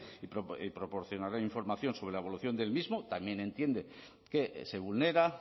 y proporcionarán información sobre la evolución del mismo también entiende que se vulnera